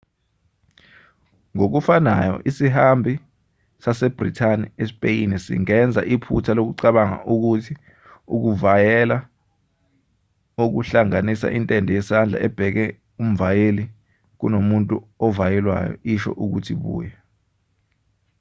ngokufanayo isihambi sasebrithani espeyini singenza iphutha lokucabanga ukuthi ukuvayela okuhlanganisa intende yesandla ebheke umvayeli kunomuntu ovayelwayo isho ukuthi buya